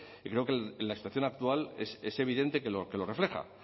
y creo que en la situación actual es evidente que lo refleja